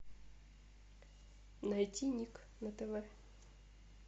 найти ник на тв